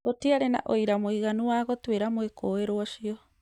Gũtiarĩ na ũira mũiganu wa gũtuĩra mwĩkũĩrwo ũcio